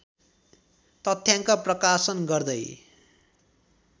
तथ्याङ्क प्रकाशन गर्दै